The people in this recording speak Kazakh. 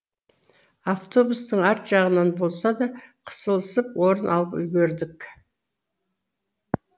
автобустың арт жағынан болса да қысылысып орын алып үлгердік